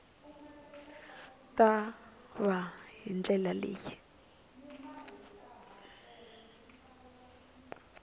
ta va hi ndlela leyi